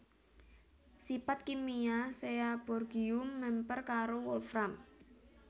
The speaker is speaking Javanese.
Sipat kimia Seaborgium mèmper karo wolfram